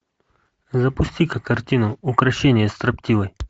запусти ка картину укрощение строптивой